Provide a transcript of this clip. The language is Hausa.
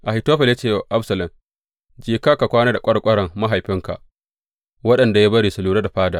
Ahitofel ya ce wa Absalom, Je ka kwana da ƙwarƙwaran mahaifinka waɗanda ya bari su lura da fada.